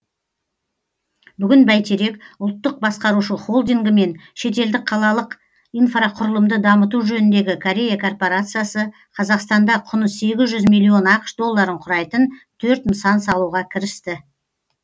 бүгін бәйтерек ұлттық басқарушы холдингі мен шетелдік қалалық инфрақұрылымды дамыту жөніндегі корея корпорациясы қазақстанда құны сегіз жүз миллион ақш долларын құрайтын төрт нысан салуға кірісті